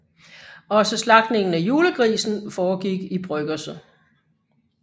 Også slagtningen af julegrisen foregik i bryggerset